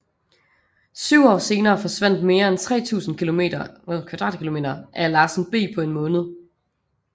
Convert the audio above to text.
Syv år senere forsvandt mere end 3000 km2 af Larsen B på en måned